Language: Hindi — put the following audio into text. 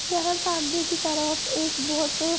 यह सामने की तरफ एक बहुत--